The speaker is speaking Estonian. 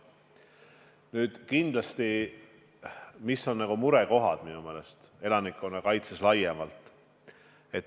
Nüüd, mis on elanikkonnakaitses murekohad laiemas mõttes?